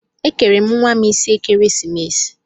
Ekere m nwa m isi ekeresimesi.